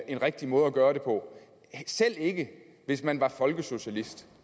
en rigtig måde at gøre det på selv ikke hvis man er folkesocialist